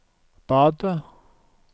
badet